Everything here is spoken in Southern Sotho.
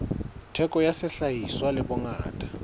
theko ya sehlahiswa le bongata